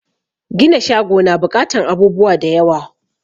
Gina shago na buƙatan abubuwa da yawa